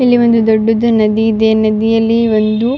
ಇಲ್ಲಿ ಒಂದು ದೊಡ್ಡದು ನದಿ ಇದೆ ನದಿಯಲ್ಲಿ ಒಂದು --